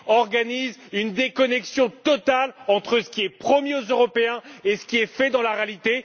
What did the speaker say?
organise une déconnexion totale entre ce qui est promis aux Européens et ce qui est fait dans la réalité.